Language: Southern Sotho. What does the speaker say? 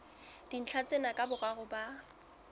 dintlha tsena ka boraro ba